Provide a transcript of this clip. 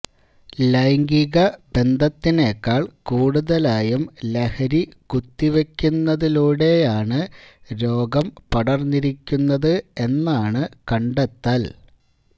ലൈഗിംക ബന്ധത്തിനേക്കാൾ കൂടുതലായും ലഹരി കുത്തിവെക്കുന്നതിലൂടെയാണ് രോഗം പടർന്നിരിക്കുന്നത് എന്നാണ് കണ്ടെത്തൽ